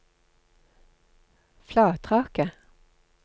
Flatraket